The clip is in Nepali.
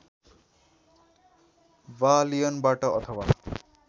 वा लियनबाट अथवा